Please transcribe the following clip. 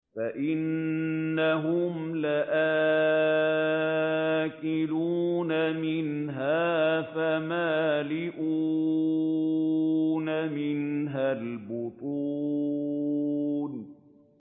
فَإِنَّهُمْ لَآكِلُونَ مِنْهَا فَمَالِئُونَ مِنْهَا الْبُطُونَ